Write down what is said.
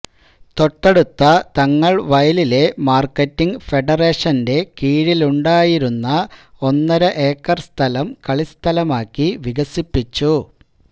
തൊട്ടടുത്ത തങ്ങൾവയലിലെ മാർക്കറ്റിങ് ഫെഡറേഷന്റെ കീഴിലുണ്ടായിരുന്ന ഒന്നരഏക്കർ സ്ഥലം കളിസ്ഥലമാക്കി വികസിപ്പിച്ചു